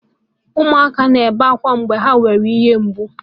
Ụmụ ọhụrụ na-ebe akwa mgbe ha na-enwe ihe mgbu